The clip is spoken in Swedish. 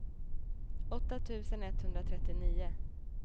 åtta tusen etthundratrettionio